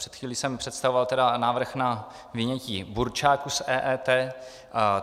Před chvílí jsem představoval tedy návrh na vyjmutí burčáku z EET.